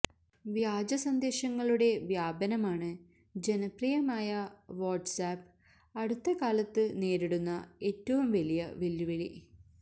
വ്യാജ സന്ദേശങ്ങളുടെ വ്യാപനമാണ് ജനപ്രിയമായ വാട്സ് ആപ്പ് അടുത്ത കാലത്ത് നേരിടുന്ന ഏറ്റവും വലിയ വെല്ലുവിളി